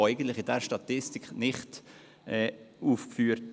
Und diese sind in dieser Statistik nicht aufgeführt.